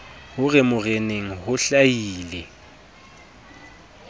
ho re moreneng ho hlahile